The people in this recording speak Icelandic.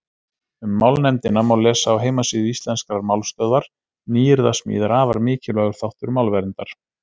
Um málnefndina má lesa á heimasíðu Íslenskrar málstöðvar Nýyrðasmíð er afar mikilvægur þáttur málverndar.